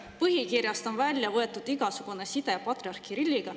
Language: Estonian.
Nende põhikirjast on välja võetud igasugune side patriarh Kirilliga.